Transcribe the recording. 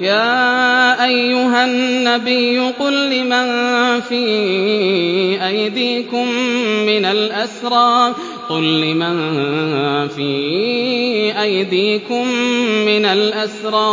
يَا أَيُّهَا النَّبِيُّ قُل لِّمَن فِي أَيْدِيكُم مِّنَ الْأَسْرَىٰ